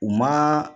U ma